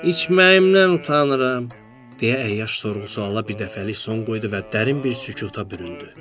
İçməyimdən utanıram, deyə əyyaş sorğu-suala birdəfəlik son qoydu və dərin bir sükuta büründü.